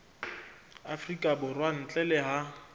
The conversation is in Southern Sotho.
afrika borwa ntle le ha